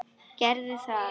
Gerðu það!